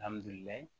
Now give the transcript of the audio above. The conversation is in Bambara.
Alihamudulila